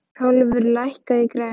Hrólfur, lækkaðu í græjunum.